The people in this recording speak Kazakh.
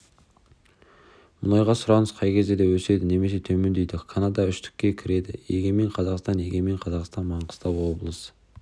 мұнайға сұраныс қай кезде өседі немесе төмендейді канада үштікке кіреді егемен қазақстан егемен қазақстан маңғыстау облысы